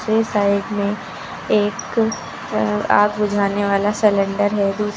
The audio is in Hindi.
ये साइड में एक अ आग बुझाने वाला सेलेन्डर है। दूस --